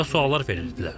Qəribə suallar verirdilər.